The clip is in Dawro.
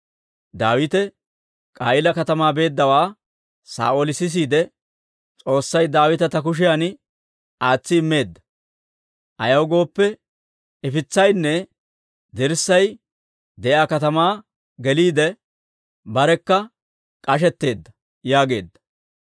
Daawite K'a'iila katamaa beeddawaa Saa'ooli sisiide, «S'oossay Daawita ta kushiyan aatsi immeedda; ayaw gooppe, ifitsaynne dirssay de'iyaa katamaa geliide, barekka k'ashetteedda» yaageedda.